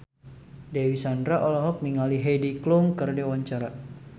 Dewi Sandra olohok ningali Heidi Klum keur diwawancara